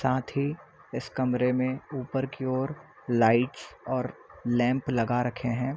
साथ ही इस कमरे में ऊपर की ओर लाइटस और लैंप लगा रखे है।